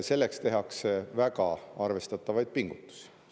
Selleks tehakse väga arvestatavaid pingutusi.